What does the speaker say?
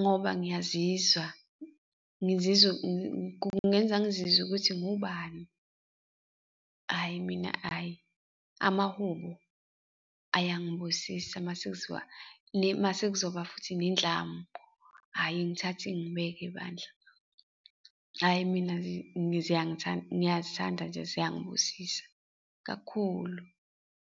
ngoba ngiyazizwa ngizizwe kungenza ngizizwe ukuthi ngubani, hhayi mina hhayi, amahubo ayangibusisa mase kuziwa masekuzoba futhi nendlamu, hhayi, ingithathe ingibeke bandla, hhayi mina ngiyazithanda nje ziyangibusisa, kakhulu.